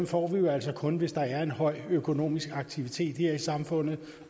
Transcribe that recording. får vi altså kun hvis der er en høj økonomisk aktivitet her i samfundet